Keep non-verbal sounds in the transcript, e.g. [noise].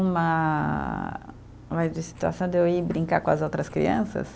Uma [unintelligible] de situação de eu ir brincar com as outras crianças.